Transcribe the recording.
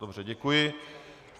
Dobře, děkuji.